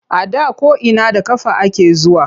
A da ko’ina da ƙafa ake zuwa.